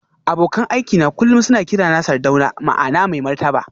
Abokan aikina kullum suna kirana Sardauna ma'ana mai martaba